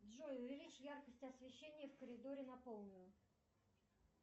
джой увеличь яркость освещения в коридоре на полную